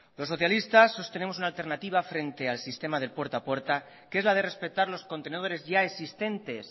los socialistas os tenemos una alternativa frente al sistema de puerta a puerta que es la de respetar los contenedores ya existentes